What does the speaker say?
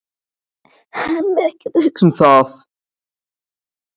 Hann er ekkert að hugsa um það.